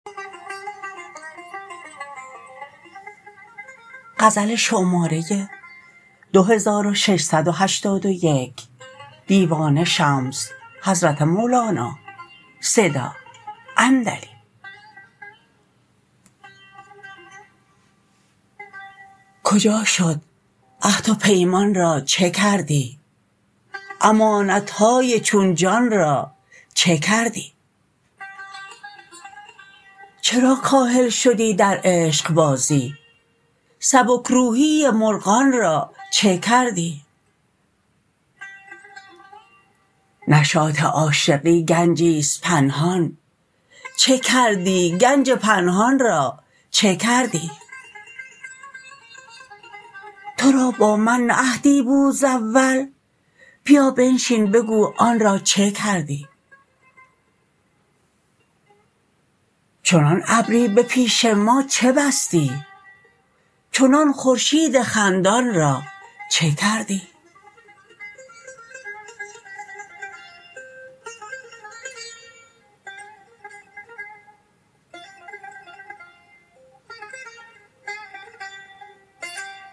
کجا شد عهد و پیمان را چه کردی امانت های چون جان را چه کردی چرا کاهل شدی در عشقبازی سبک روحی مرغان را چه کردی نشاط عاشقی گنجی است پنهان چه کردی گنج پنهان را چه کردی تو را با من نه عهدی بود ز اول بیا بنشین بگو آن را چه کردی چنان ابری به پیش ما چه بستی چنان خورشید خندان را چه کردی